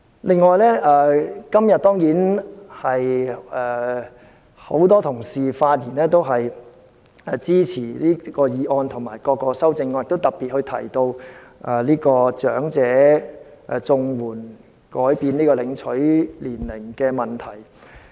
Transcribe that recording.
另外，當然，今天很多同事發言支持這項議案及各項修正案，亦特別提及更改領取長者綜援的合資格年齡的問題。